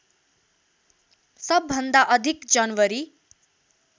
सबभन्दा अधिक जनवरी